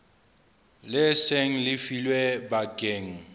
le seng le lefilwe bakeng